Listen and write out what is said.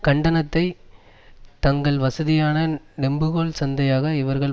கண்டத்தை தங்கள் வசதியான நெம்புகோல் சந்தையாக இவர்கள்